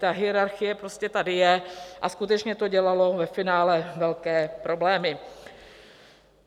Ta hierarchie prostě tady je a skutečně to dělalo ve finále velké problémy.